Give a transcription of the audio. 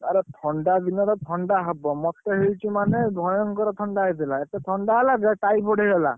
ଆରେ ଥଣ୍ଡା ଦିନରେ ଥଣ୍ଡା ହବ। ମତେ ହେଇଛି ମାନେ ଭୟଙ୍କର ଥଣ୍ଡା ହେଇଥିଲା। ଥଣ୍ଡା ହେଲା ପରେ typhoid ହେଇଗଲା।